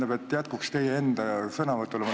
Ma küsin jätkuks teie enda sõnavõtule.